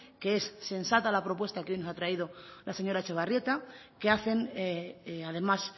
que es sensata la propuesta que hoy nos ha traído la señora etxebarrieta que hacen además